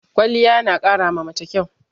Kwaliya na ƙara ma mace kyau